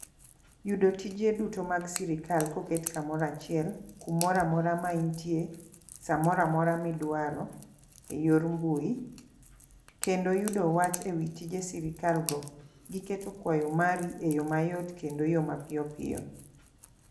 Yudo tije duto mag sirikal koket kamora chiel kumoramora ma intie ,samoramora midwaro e yor mbui kendo yudo wach ewi tije sirikal go giketo kwayo mari eyo mayot kendo yo ma piyopiyo.